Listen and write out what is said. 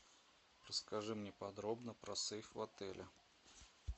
расскажи мне подробно про сейф в отеле